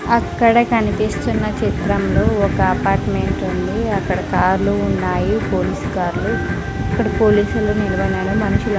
అక్కడ కనిపిస్తున్న చిత్రంలో ఒక అపార్ట్మెంట్ ఉంది అక్కడ కార్లు ఉన్నాయి పోలీస్ కార్లు అక్కడ పోలీసులు నిలువన్నారు మనుషులు --